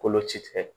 Kolo ci tigɛ